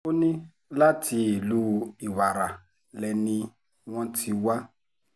ó ní láti ìlú ìwàrà lẹni wọn ti wá